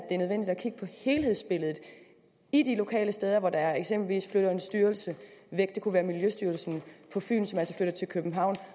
kigge på helhedsbilledet de de lokale steder hvor der eksempelvis flytter en styrelse væk det kunne være miljøstyrelsen på fyn som altså flytter til københavn